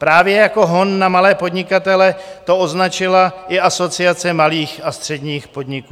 Právě jako hon na malé podnikatele to označila i Asociace malých a středních podniků.